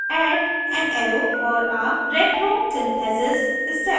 add an arrow for a retrosynthesis step